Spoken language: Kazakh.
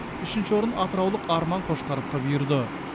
үшінші орын атыраулық арман қошқаровқа бұйырды